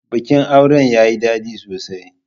Bikin auren yayi daɗi sosai.